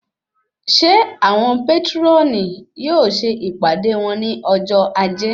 Ṣe awọn patroni yóò ṣe ìpàdé wón ní ọjọ ajé?